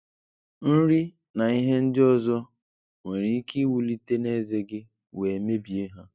Nri na ihe ndị ọzọ nwere ike wulite n'ezé gị wee mebie ha.